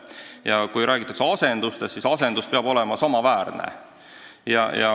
Ja kui räägitakse asendusest, siis asendus peab olema samaväärne.